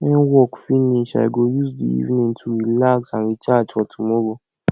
when work finish i go use the evening to relax and recharge for tomorrow